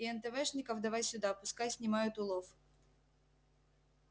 и энтэвэшников давай сюда пускай снимают улов